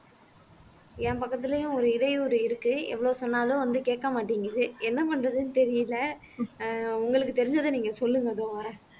என் பக்கத்திலேயும் ஒரு இடையூறு இருக்கு எவ்வளவு சொன்னாலும் வந்து கேட்க மாட்டேங்குது என்ன பண்றதுன்னு தெரியலே ஆஹ் உங்களுக்கு தெரிஞ்சதை நீங்க சொல்லுங்க இதோ வரேன்